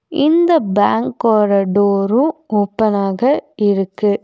இந்த பேங்கோட டோரூ ஓப்பனாக இருக்கு.